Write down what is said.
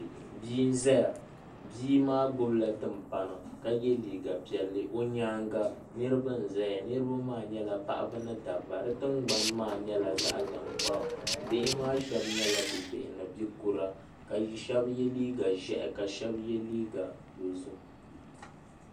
Bia n ʒɛya bia maa gbubila timpana ka yɛ liiga piɛlli o nyaanga niraba n ʒɛya niraba maa nyɛla paɣaba ni dabba bi tingbani maa nyɛla zaɣ tankpaɣu bihi maa shab nyɛla bi bihi ni bia kura ka shab yɛ liiga ʒiɛhi ka shab yɛ liiga dozim